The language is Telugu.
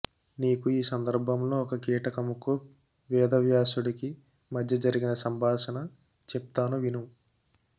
నీకు ఈ సందర్భంలో ఒక కీటకముకు వేదవ్యాసుడికి మధ్యజరిగిన సంభాషణ చెప్తాను విను